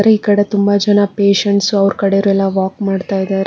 ಈಕಡೆ ತುಂಬ ಜನ ಪೇಶೆಂಟ್ಸ್ ಅವರ ಕಡೆವರ ಎಲ್ಲಾ ವಾಕ್ ಮಾಡ್ತಾಇದಾರೆ